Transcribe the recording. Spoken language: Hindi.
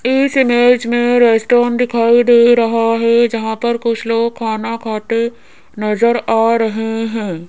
इस इमेज में रेस्टोरेंट दिखाई दे रहा है जहां पर कुछ लोग खाना खाते नजर आ रहे है।